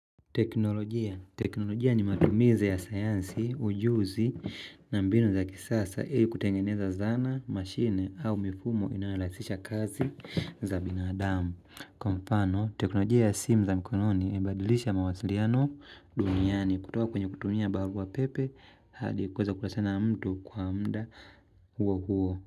Teknolojia. Teknolojia ni matumizi ya sayansi, ujuzi na mbinu za kisasa. Ili kutengeneza zana, mashine au mifumo inayorahisisha kazi za binadamu. Kwa mfano, teknolojia ya simu za mikononi imebadilisha mawasiliano duniani. Kutoka kwenye kutumia barua pepe, hadi kuweza kuwasiliana mtu kwa muda huo huo.